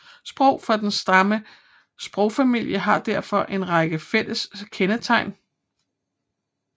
Sprog fra samme sprogfamilie har derfor en række fælles kendetegn